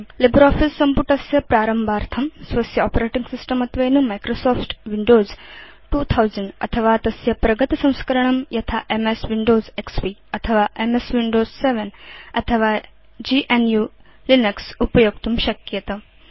LibreOffice सम्पुटस्य प्रारम्भार्थं स्वस्य आपरेटिंग सिस्टम् त्वेन माइक्रोसॉफ्ट विंडोज 2000 अथवा तस्य प्रगतसंस्करणं यथा एमएस विंडोज एक्सपी अथवा एमएस विंडोज 7 अथवा gnuलिनक्स उपयोक्तुं शक्येत